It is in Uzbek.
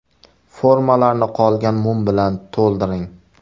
Formalarni qolgan mum bilan to‘ldiring.